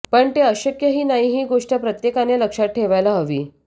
पण ते अशक्यही नाही ही गोष्ट प्रत्येकानं लक्षात ठेवायला हवी